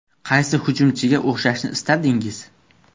Qaysi hujumchiga o‘xshashni istardingiz?